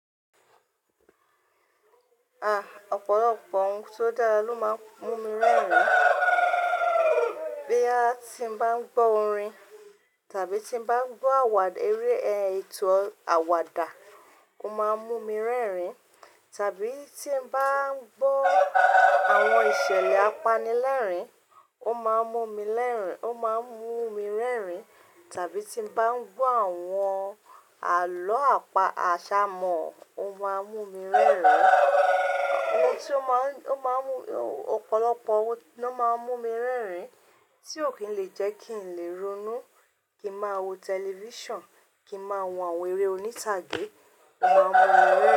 A, ọ̀pọ̀lọpọ̀ ohun tó dára ló máa ń mú mi rẹ́rìn-ín. Bí a ti ń bá ń gbọ́ orin, tàbí tí ń bá ń gbọ́ àwàd, eré ẹ̀ ètò àwàdà, ó máa ń mú mi rẹ́rìn-ín. Tàbí tí ń bá ń gbọ́ àwọn ìṣẹ̀lẹ̀ apanilẹ́rìn-ín, ó máa ń mú mi lẹ́rìn-ín, ó máa ń mú mi rẹ́rìn-ín. Tàbí tí ń bá ń gbọ́ àwọn àlọ́ àpá àṣà mọ, ó máa ń mú mi rẹ́rìn-ín. Ohun tí ó máa ń, ó máa ń mú, ọ̀pọ̀lọpọ̀ ohun ló máa ń mú mi rẹ́rìn-ín, tí ò kí ń lè jẹ́ kí n lè ronú. Kí máa wo tẹlifíṣàn, kí máa wo àwọn eré oníṣàgé, ó máa ń mú.